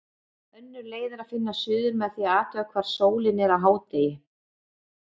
Önnur leið er að finna suður með því að athuga hvar sólin er á hádegi.